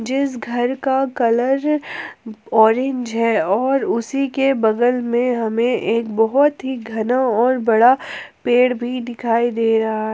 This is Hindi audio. जिस घर का कलर ऑरेंज है और उसी के बगल में हमें एक बहुत ही घना और बड़ा पेड़ भी दिखाई दे रहा है।